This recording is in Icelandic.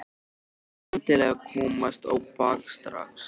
Hún vill endilega komast á bak strax.